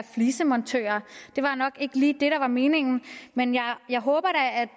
flisemontører det var nok ikke lige det der var meningen men jeg håber